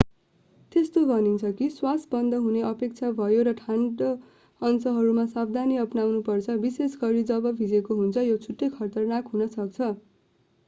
त्यस्तो भनिन्छ कि श्वास बन्द हुने अपेक्षा हुन्छ र ठाडो अंशहरूमा सावधानी अपनाउनु पर्छ विशेष गरी जब भिजेको हुन्छ यो छिट्टै खतरनाक हुन सक्छ